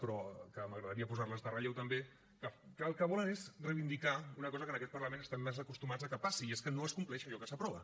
però que m’agradaria posar les en relleu també que el que volen és reivindicar una cosa que en aquest parlament estem massa acostumats a que passi i és que no es compleix allò que s’aprova